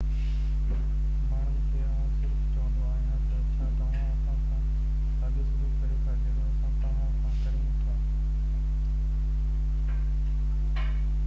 ماڻهن کي آئون صرف چوندو آهيان ته ڇا توهان اسان سان ساڳيو سلوڪ ڪريو ٿا جهڙو اسان توهان سان ڪريون ٿا